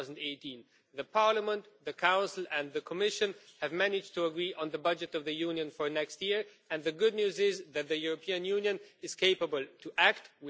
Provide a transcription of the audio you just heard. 2018. Parliament, the Council and the Commission have managed to agree on the budget of the Union for next year, and the good news is that the European Union is capable of acting.